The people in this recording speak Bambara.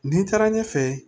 Nin taara ɲɛfɛ